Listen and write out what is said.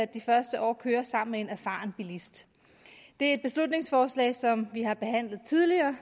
de første år kører sammen med en erfaren bilist det er et beslutningsforslag som vi har behandlet tidligere